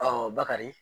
bakari